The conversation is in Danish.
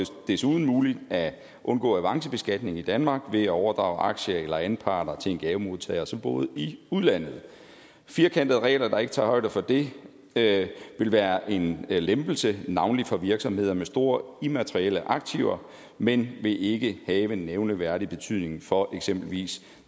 desuden muligt at undgå avancebeskatning i danmark ved at overdrage aktier eller anparter til en gavemodtager som boede i udlandet firkantede regler der ikke tager højde for det det vil være en lempelse for navnlig virksomheder med store immaterielle aktiver men vil ikke have nævneværdig betydning for eksempelvis